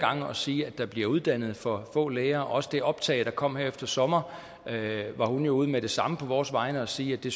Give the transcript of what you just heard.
gange og sige at der bliver uddannet for få læger også det optag der kom her efter sommer var hun jo med det samme ude på vores vegne og sige at det